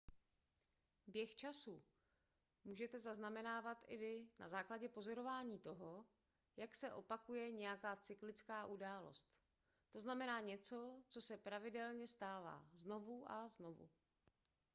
běh času můžete zaznamenávat i vy na základě pozorování toho jak se opakuje nějaká cyklická událost to znamená něco co se pravidelně stává znovu a znovu